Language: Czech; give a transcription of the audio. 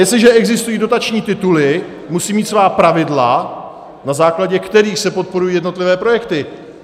Jestliže existují dotační tituly, musí mít svá pravidla, na základě kterých se podporují jednotlivé projekty.